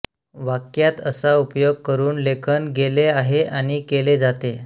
वाक्यात असा उपयोग करून लेखन गेले आहे आणि केले जाते